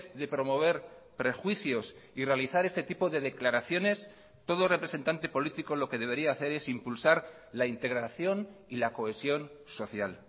de promover prejuicios y realizar este tipo de declaraciones todo representante político lo que debería hacer es impulsar la integración y la cohesión social